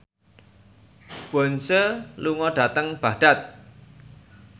Beyonce lunga dhateng Baghdad